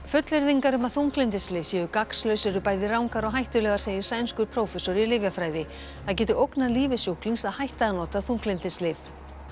fullyrðingar um að þunglyndislyf séu gagnslaus eru bæði rangar og hættulegar segir sænskur prófessor í lyfjafræði það geti ógnað lífi sjúklings að hætta að nota þunglyndislyf